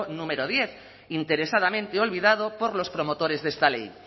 número diez interesadamente olvidado por los promotores de esta ley